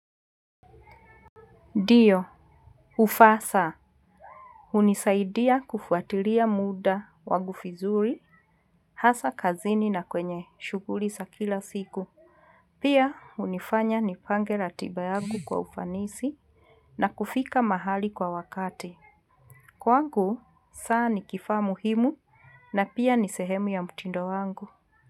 Ndio, ufasaha hunisaidia kufuatilia muda wangu vizuri, hasa kazini na kwenye shughuli za kila siku. Pia, hunifanya nipange ratiba yangu kwa ufanisi na kufika mahali kwa wakati. Kwangu, saa ni kifaa muhimu na pia ni sehemu ya mtindo wangu.